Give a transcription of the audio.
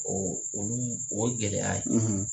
olu mun o ye gɛlɛya ye